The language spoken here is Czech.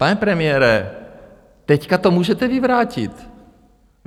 Pane premiére, teď to můžete vyvrátit.